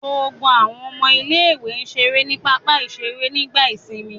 Gbogbo àwọn ọmọ ilé-ìwé ṣeré ní pápá-ìṣeré nígbà ìsìnmi.